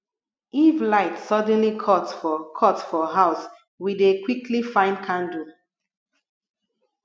if light suddenly cut for cut for house we dey quickly find candle